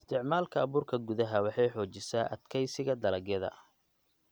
Isticmaalka abuurka gudaha waxay xoojisaa adkeysiga dalagyada.